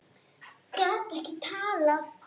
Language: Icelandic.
Gat ekki talað.